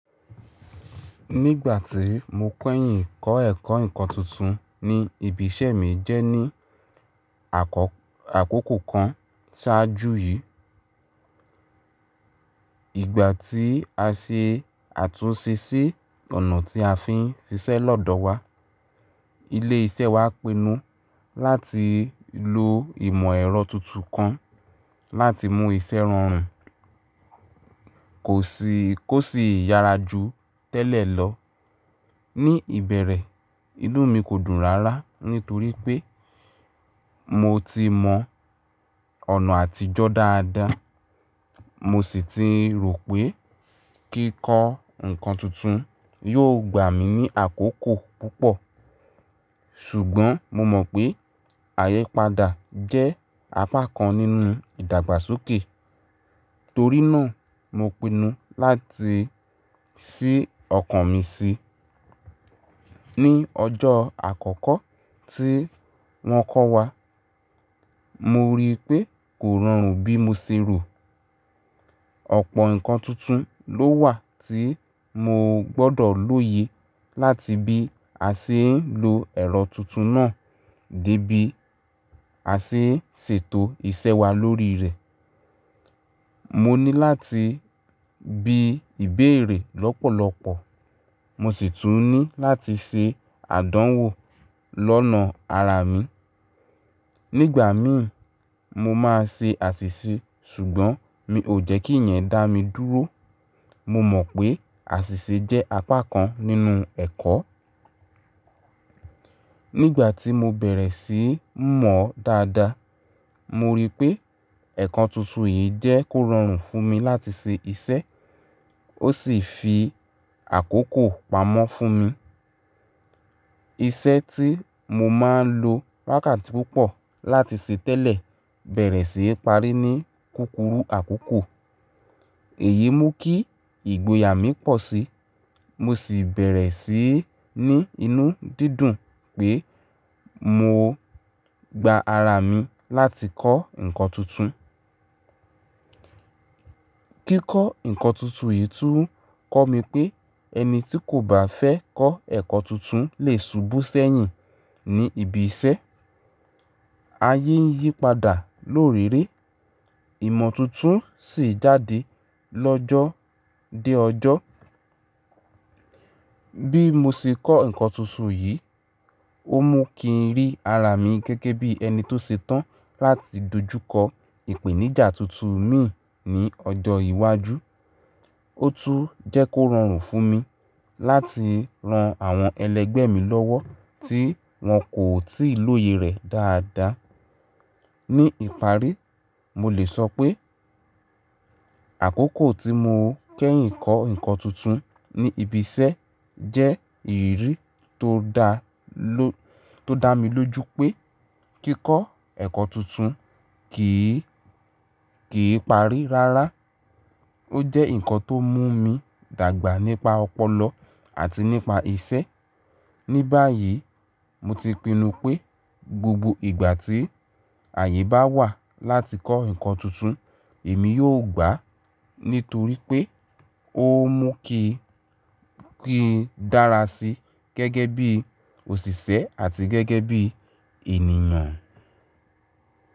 Nígbà tí mo kẹ́yìn kọ́ ẹ̀kọ́ ǹkan tuntun ní ibi iṣẹ́ mi jẹ́ ní àkókò kan ṣáájú yìí. Ìgbà tí a ṣe àtúnṣe sí ònà tí a fi ń ṣiṣẹ́ lọ́dọ̀ wa. Ilé iṣẹ́ wa pinnu láti lo ìmọ̀ ẹ̀rọ tuntun kan láti mú iṣẹ́ rọrùn kó sì yára jù tẹ́lẹ̀ lọ. Ni ìbẹ̀rẹ̀, inú mi kò dùn rara nítorí pé mo ti mọ̀ ọ̀nà àtijọ́ dáadáa, mo sì ti rò pé kíkọ́ nǹkan tuntun yóò gbà mí ní àkókò púpọ̀. Ṣùgbọ́n mo mọ̀ pé àyípadà jẹ́ apá kan nínú ìdàgbàsókè. Torí náà mo pinnu láti ṣí ọkàn mi sí i. Ni ọjọ́ àkọ́kọ́ tí wọ́n kọ́ wa, mo rí pé kò rọrùn bí mo ṣe rò. Ọ̀pọ̀ nǹkan tuntun ló wà tí mo gbọ́dọ̀ lóye láti bí a ṣe ń lo ẹ̀rọ tuntun náà dé bí a ṣe ń ṣètò iṣẹ́ wa lórí rẹ̀. Mo ní láti bi ìbéèrè lọ́pọ̀lọpọ̀, mo sì tún ní láti ṣe àdánwò lọ́nà ara mi. Nígbà mi mo máa ń ṣe àṣìṣe ṣùgbọ́n mi ò jẹ́kí ìyẹn dá mi dúró. Mo mọ̀ pé àṣìṣe jẹ́ apá kan nínú ẹ̀kọ́. Nígbà tí mo bẹ̀rẹ̀ sí ní mọ̀ dáadáa, mo rí pé ẹ̀kọ́ tuntun yìí jẹ́ kó rọrùn fún mi láti ṣe iṣẹ́ ó sì fi àkókò pamọ́ fún mi. Iṣẹ́ tí mo máa ń lo lákàntí púpọ̀ láti ṣe tẹ́lẹ̀ bẹ̀rẹ̀ sí í parí ní kùkúrù àkókò. Èyí mú kí ìgboyà mi pọ̀ sí i. Mo sì bẹ̀rẹ̀ sí í ní inú dídùn pé mo gba ara mi láti kọ́ nǹkan tuntun. Kíkọ́ nǹkan tuntun yìí tún kọ́ mi pé ẹni tí kò bá fẹ́ kọ́ ẹ̀kọ́ tuntun lè subú sẹ́yìn ní ibi iṣẹ́. Ayé ń yípadà lórèéré ìmọ̀ tuntun sì jáde lọ́jọ́ dé ọjọ́. Bí mo ṣe kọ́ nǹkan tuntun yìí, ó mú kí n rí ara mi gẹ́gẹ́ bí ẹni tó ṣe tán láti dojú kọ ìpèníjà tuntun mi ní ọjọ́ iwájú. Ó tún jẹ́ kó rọrùn fún mi láti ran àwọn ẹlẹgbẹ́ mi lọ́wọ́ tí wọ́n kò tíì lóye rẹ̀ dáadáa. Ní ìparí, mo lè sọ pé àkókò tí mo kẹ́yìn kọ́ nǹkan tuntun ní ibi iṣẹ́ jẹ́ ìrírí tó dá mi lójú pé kíkọ́ ẹ̀kọ́ tuntun kìí parí rárá. Ó jẹ́ nǹkan tó mú mi dàgbà nípa ọpọlọ àti nípa iṣẹ́. Ní báyìí mo ti pinnu pé gbogbo ìgbà tí àyè bá wà láti kọ́ nǹkan tuntun, èmi yóò gbà á nítorí pé ó mú kí n dára sí i gẹ́gẹ́ bí òṣìṣẹ́ àti gẹ́gẹ́ bí ènìyàn.